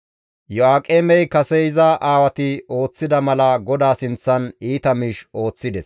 Iyo7aaqemey kase iza aawati ooththida mala GODAA sinththan iita miish ooththides.